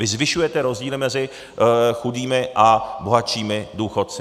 Vy zvyšujete rozdíly mezi chudými a bohatšími důchodci.